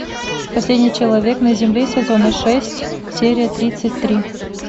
последний человек на земле сезона шесть серия тридцать три